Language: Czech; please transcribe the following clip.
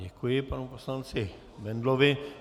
Děkuji panu poslanci Bendlovi.